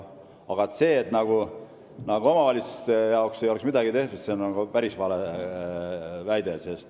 Aga see, nagu ei oleks omavalitsuste jaoks midagi tehtud, on päris vale väide.